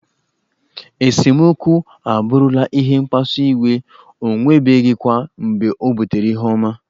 Esemokwu abụrụla ihe mkpasu iwe, o nwebeghịkwa mgbe o butere ihe ọma.